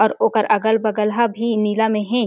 अर ओकर अगल-बगल हा भी नीला में हे।